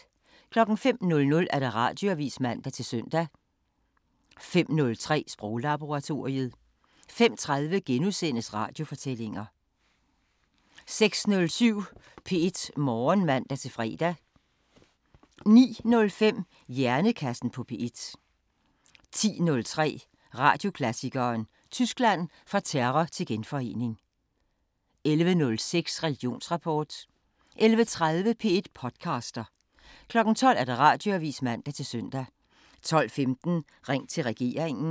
05:00: Radioavisen (man-søn) 05:03: Sproglaboratoriet 05:30: Radiofortællinger * 06:07: P1 Morgen (man-fre) 09:05: Hjernekassen på P1 10:03: Radioklassikeren: Tyskland – Fra terror til genforening 11:06: Religionsrapport 11:30: P1 podcaster 12:00: Radioavisen (man-søn) 12:15: Ring til regeringen